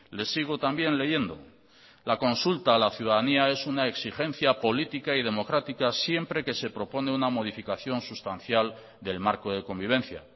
le sigo también leyendo la consulta a la ciudadanía es una exigencia política y democrática siempre que se propone una modificación sustancial del marco de convivencia